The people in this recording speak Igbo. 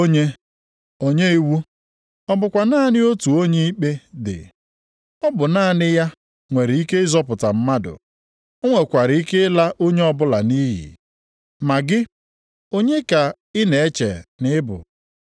Ugbu a geenụ ntị unu bụ ndị na-asị, “Taa maọbụ echi, anyị ga-aga ebe dị otu a, maọbụ obodo dị otu a, ịzụ ahịa na ire ahịa, anyị ga-anọkwa ebe ahụ otu afọ kpaa ego.”